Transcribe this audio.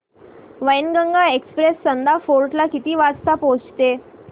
Wainganga express Chanda fort ला किती वाजता पोहचते